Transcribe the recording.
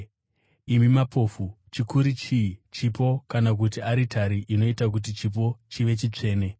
Imi mapofu! Chikuru chii: Chipo kana kuti aritari inoita kuti chipo chive chitsvene?